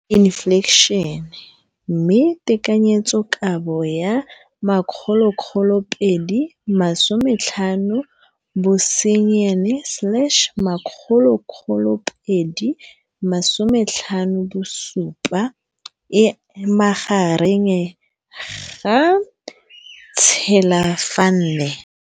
Infleišene, mme tekanyetsokabo ya 2017, 18, e magareng ga R6.4 bilione.